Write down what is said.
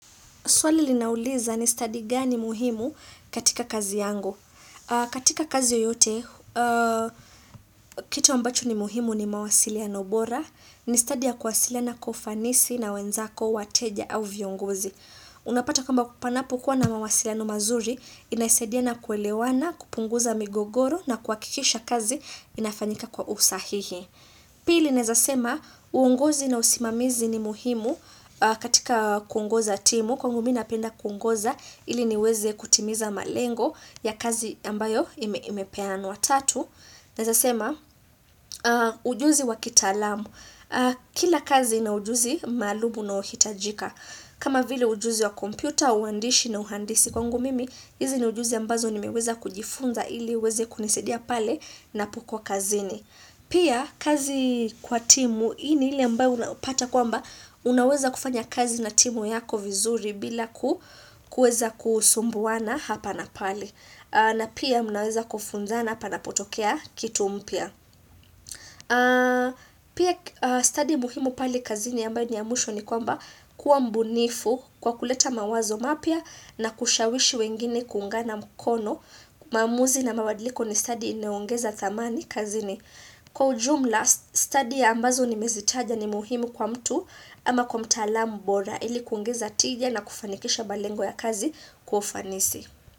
Swali linauliza ni stadi gani muhimu katika kazi yangu. Katika kazi yoyote, kitu ambacho ni muhimu ni mawasiliano bora, ni stadi ya kuwasiliana kwa ufanisi na wenzako, wateja au viongozi. Unapata kwamba panapokuwa na mawasiliano mazuri, inasaidia na kuelewana, kupunguza migogoro na kuhakikisha kazi inafanyika kwa usahihi. Pili naeza sema, uongozi na usimamizi ni muhimu katika kuongoza timu, kwangu mi napenda kuongoza ili niweze kutimiza malengo ya kazi ambayo imepeanwa. Tatu. Naeza sema, ujuzi wa kitaalamu, kila kazi una ujuzi maalumu unaohitajika. Kama vile ujuzi wa kompyuta, uandishi na uhandisi kwangu mimi, hizi ni ujuzi ambazo nimeweza kujifunza ili uweze kunisaidia pale napokuwa kazini. Pia kazi kwa timu hii ni ile ambayo unapata kwamba unaweza kufanya kazi na timu yako vizuri bila kuweza kusumbuana hapa na pale. Na pia mnaweza kufunzana panapotokea kitu mpya. Pia stadi muhimu pale kazini ambayo ni ya mwisho ni kwamba kuwa mbunifu kwa kuleta mawazo mapya na kushawishi wengine kuungana mkono maamuzi na mabadiliko ni stadi inayoongeza dhamani kazini. Kwa ujumla, stadi ambazo nimezitaja ni muhimu kwa mtu ama kwa mtalaamu bora ili kuongeza tija na kufanikisha malengo ya kazi kwa ufanisi.